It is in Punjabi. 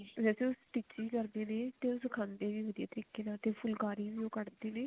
ਪਲਾਜੋ stitch ਵੀ ਕਰਦੇ ਨੇ ਸਿਖਾਉਂਦੇ ਨੇ ਵਧੀਆ ਤਰੀਕੇ ਨਾਲ ਅਤੇ ਫੁਲਕਾਰੀ ਵੀ ਉਹ ਕੱਢ ਦੇ ਨੇ